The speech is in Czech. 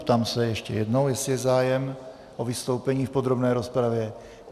Ptám se ještě jednou, jestli je zájem o vystoupení v podrobné rozpravě.